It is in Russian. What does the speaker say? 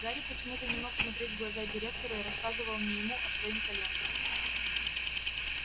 гарри почему-то не мог смотреть в глаза директору и рассказывал не ему а своим коленкам